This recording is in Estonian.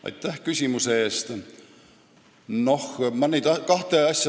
Aitäh küsimuse eest!